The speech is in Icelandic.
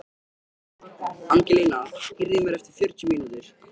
Angelína, heyrðu í mér eftir fjörutíu mínútur.